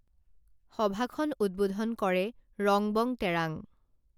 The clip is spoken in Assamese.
সভাখন উদ্বোধন কৰে ৰংবং তেৰাঙ